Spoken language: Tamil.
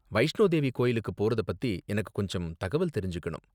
வைஷ்ணோ தேவி கோவிலுக்கு போறத பத்தி எனக்கு கொஞ்சம் தகவல் தெரிஞ்சுக்கணும்.